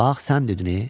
Bax sən dedin ey.